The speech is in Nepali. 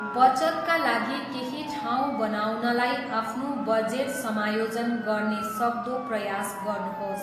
बचतका लागि केही ठाउँ बनाउनलाई आफ्नो बजेट समायोजन गर्ने सक्दो प्रयास गर्नुहोस्।